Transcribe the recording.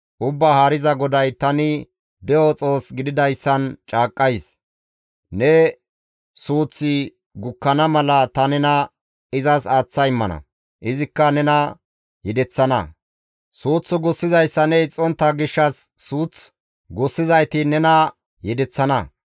Ubbaa Haariza GODAY tani de7o Xoos gididayssan caaqqays; ne suuththi gukkana mala ta nena izas aaththa immana; izikka nena yedeththana; suuth gussizayssa ne ixxontta gishshas suuth gussizayti nena yedeththana.